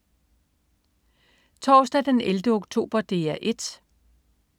Torsdag den 11. oktober - DR 1: